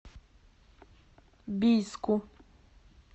бийску